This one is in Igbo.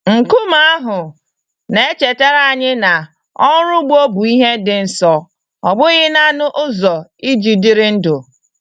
Nkume ahụ na-echetara anyị na ọrụ ugbo bụ ihe dị nsọ, ọ bụghị naanị ụzọ iji dịrị ndụ.